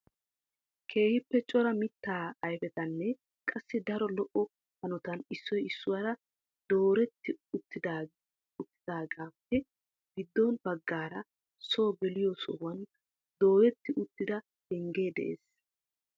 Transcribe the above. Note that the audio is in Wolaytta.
Keehippe cora mitta ayfetanne qassi daro lo"o hanotan issoy issuwaara dooreti oottidaageppe giddo baggaara soo geliyo aahuwan dooyyeti uttida pengge de'ees.